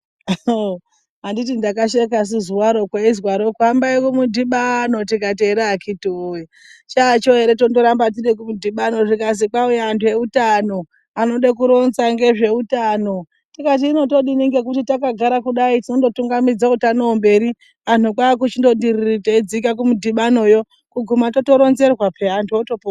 kkkkk, Anditi Ndakashekasu zuwa ro kweizwaro hambai kumudhibano tikati ere akiti woye chacho ere tondorambe tiri kumudhibano zvikazwi kwauye anu eutano anode kuronza ngezveutano tikati hino todini ngekuti takagara kudai tinondotungamidze utanohwo mberi anhu kwaakuchindoti riiirii teidzike kumudhibanoyo kuguma totoronzerwa peya anhu otopona.